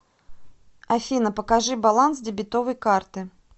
афина покажи баланс дебетовой карты